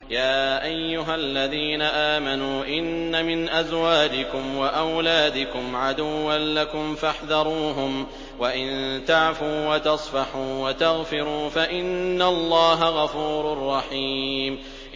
يَا أَيُّهَا الَّذِينَ آمَنُوا إِنَّ مِنْ أَزْوَاجِكُمْ وَأَوْلَادِكُمْ عَدُوًّا لَّكُمْ فَاحْذَرُوهُمْ ۚ وَإِن تَعْفُوا وَتَصْفَحُوا وَتَغْفِرُوا فَإِنَّ اللَّهَ غَفُورٌ رَّحِيمٌ